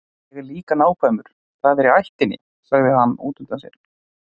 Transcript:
Ég er líka nákvæmur, það er í ættinni, sagði hann útundann sér.